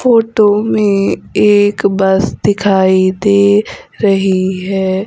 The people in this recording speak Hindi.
फोटो में एक बस दिखाई दे रही है।